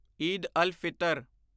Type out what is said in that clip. Eid al Fitr